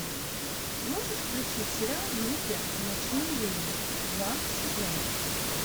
можешь включить сериал в небе ночные ведьмы два сезон